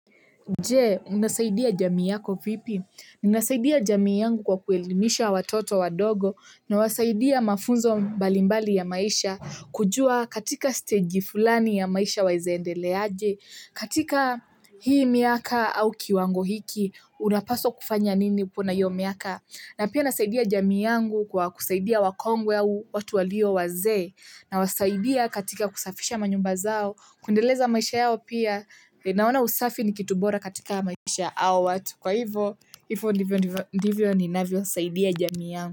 Jee, unasaidia jamii yako vipi? Ninasaidia jamii yangu kwa kuelimisha watoto wadogo na wasaidia mafunzo mbalimbali ya maisha kujua katika stage fulani ya maisha waezaendelea aje katika hii miaka au kiwango hiki unapaswa kufanya nini puna hiyo miaka na pia nasaidia jamii yangu kwa kusaidia wakongwe au watu walio wazee na wasaidia katika kusafisha manyumba zao kundeleza maisha yao pia. Naona usafi ni kitu bora katika maisha ya hawa watu. Kwa hivyo, hivyo ndivyo ninavyosaidia jamii yangu.